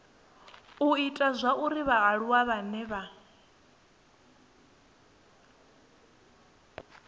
u ita zwauri vhaaluwa vhane